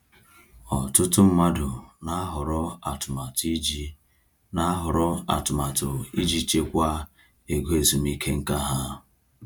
Ọtụtụ mmadụ na-ahọrọ atụmatụ iji na-ahọrọ atụmatụ iji chekwaa ego ezumike nká ha.